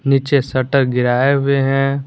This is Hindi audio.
नीचे शटर गिराए हुए हैं।